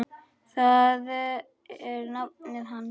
Það er nafnið hans.